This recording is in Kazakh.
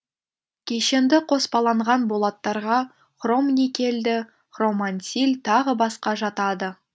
кешенді қоспаланған болаттарға хромникельді хромансиль тағы басқа жатады